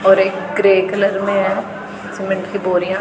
और एक grey colour में हैं सीमेंट की बोरियां--